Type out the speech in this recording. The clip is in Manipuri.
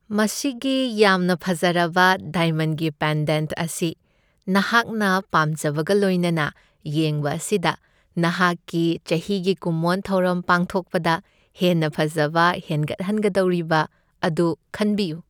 ꯃꯁꯤꯒꯤ ꯌꯥꯝꯅ ꯐꯖꯔꯕ ꯗꯥꯏꯃꯟꯒꯤ ꯄꯦꯟꯗꯦꯟꯠ ꯑꯁꯤ ꯅꯍꯥꯛꯅ ꯄꯥꯝꯖꯕꯒ ꯂꯣꯏꯅꯅ ꯌꯦꯡꯕ ꯑꯁꯤꯗ, ꯅꯍꯥꯛꯀꯤ ꯆꯍꯤꯒꯤ ꯀꯨꯝꯑꯣꯟ ꯊꯧꯔꯝ ꯄꯥꯡꯊꯣꯛꯄꯗ ꯍꯦꯟꯅ ꯐꯖꯕ ꯍꯦꯟꯒꯠꯍꯟꯒꯗꯧꯔꯤꯕ ꯑꯗꯨ ꯈꯟꯕꯤꯌꯨ ꯫